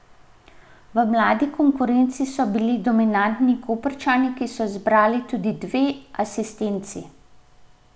V mladi konkurenci so bili dominantni Koprčani, ki so zbrali tudi dve asistenci.